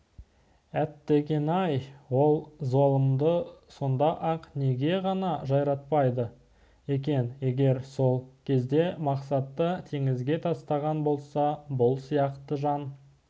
әттеген-ай ол залымды сонда-ақ неге ғана жайратпады екен егер сол кезде мақсатты теңізге тастаған болса бұл сияқты жан